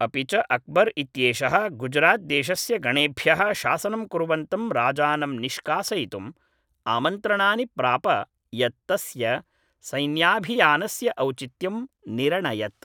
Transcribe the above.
अपि च अक्बर् इत्येषः गुजरात् देशस्य गणेभ्यः शासनं कुर्वन्तं राजानं निष्कासयितुम् आमन्त्रणानि प्राप यत् तस्य सैन्याभियानस्य औचित्यं निरणयत्